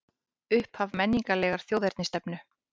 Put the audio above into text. Upphaf menningarlegrar þjóðernisstefnu